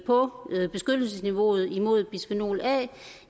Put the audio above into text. på beskyttelsesniveauet imod bisfenol a